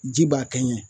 Ji b'a kɛ ɲɛ